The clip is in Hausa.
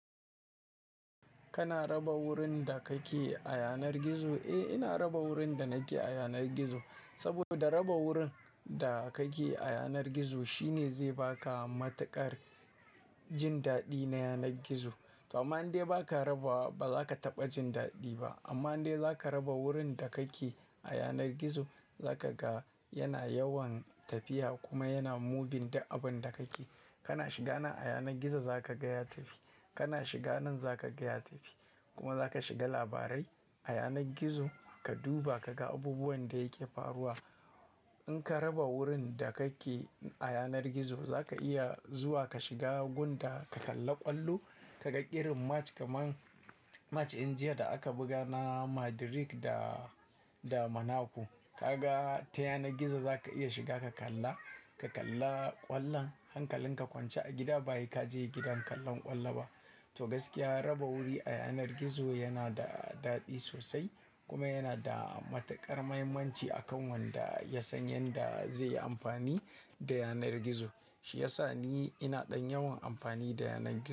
Kana raba wurin da kake a yanar gizo? Eh, ina raba wurin da nake a yanar gizo. Saboda raba wurin da kake a yanar gizo shine zai baka matuƙar jin daɗi na yanar gizo. To amma indai ba ka raba wa, ba za ka taɓa jin daɗi ba. Amma in dai za ka raba wurin da kake a yanar gizo, za ka ga yana yawan tafiya kuma yana moving da abun da kake. Kana shiga nan a yanar gizo za ka ga ya tafi. Kana shiga nan za ka ga ya tafi. Kuma za ka shiga labarai a yanar gizo, ka duba ka ga abubuwan da yake faruwa. In ka raba wurin da kake a yanar gizo, za ka iya zuwa ka shiga gunda ka kalla ƙwallo, ka ga irin match kaman match in jiya da aka buga na Madrid da, da Monaco. Ka ga ta yanar gizo za ka iya shiga ka kalla, ka kalla ƙwallon. Hankalin ka kwance a gida bahe ka je gidan kallon ƙwallo ba. To gaskiya raba wuri a yanar gizo yana da daɗi sosai kuma yana da matuƙar muhimmanci akan wanda ya san yanda zai yi amfani da yanar gizo. Shi ya sa ni ina ɗan yawan amfani da yanar gizo.